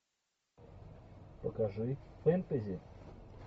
покажи фэнтези